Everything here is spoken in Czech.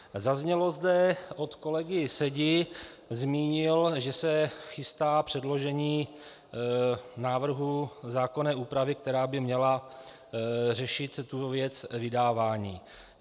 Zaznělo zde od kolegy Sedi - zmínil, že se chystá předložení návrhu zákonné úpravy, která by měla řešit tu věc vydávání.